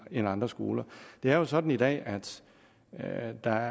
end andre skoler det er jo sådan i dag at at der